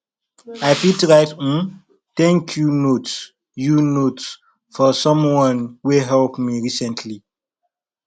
i fit write um thank you note you note for someone wey help me recently